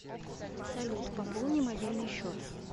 салют пополни мобильный счет